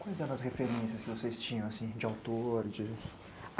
Quais eram as referências que vocês tinham, assim, de autor, de...?